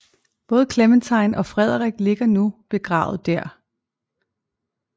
Både Clementine og Frederik ligger nu begravet der